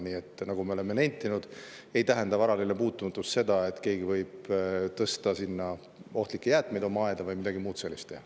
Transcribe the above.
Nii nagu me oleme nentinud, varade puutumatus ei tähenda näiteks seda, et keegi võib tõsta ohtlikke jäätmeid oma aeda või midagi muud sellist teha.